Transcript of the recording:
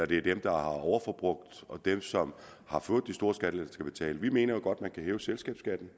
det er dem der har overforbrugt og dem som har fået de store skattelettelser vi mener jo godt at man kan hæve selskabsskatten